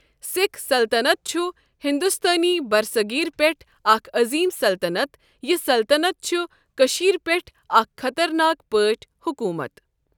سِکھ سَلطَنَت چُھ ہندُستٲنی بَرِصٔغیٖر پؠٹھ اَکھ عٔظیٖم سَلطَنَت یہِ سَلطَنَت چُھ کٔشِیر پؠٹھ اَکھ خطرناک پٲٹھؠ حوٚکوٗمَتھ.